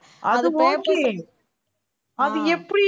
அது okay அது எப்படி